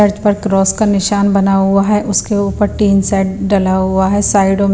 पर क्रॉस का निशान बना हुआ है उसके ऊपर तीन सेट डला हुआ है साइडो मे--